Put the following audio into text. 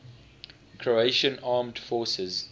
croatian armed forces